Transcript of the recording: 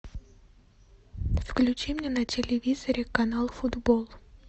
включи мне на телевизоре канал футбол